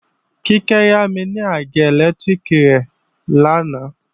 Kíkẹ́ yámi ní àgé ẹlẹ́lẹtiriki rẹ̀ lánàá